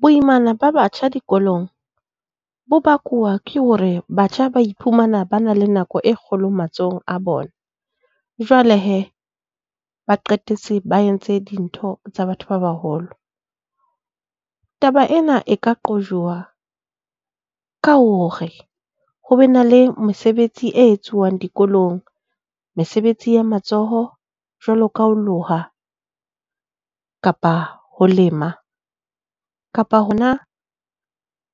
Boimana ba batjha dikolong bo bakuwa ke hore batjha ba iphumana ba na le nako e kgolo matsohong a bona. Jwale he ba qetetse ba entse dintho tsa batho ba baholo. Taba ena e ka qojwa ka hore ho be na le mesebetsi e etsuwang dikolong. Mesebetsi ya matsoho jwalo ka ho loha kapa ho lema kapa hona